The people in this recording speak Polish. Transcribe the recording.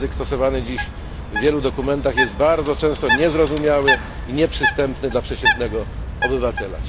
Język stosowany dziś w wielu dokumentach jest bardzo często niezrozumiały i nieprzystępny dla przeciętnego obywatela.